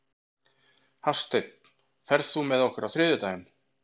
Hafsteina, ferð þú með okkur á þriðjudaginn?